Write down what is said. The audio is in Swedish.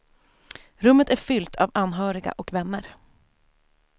Rummet är fyllt av anhöriga och vänner.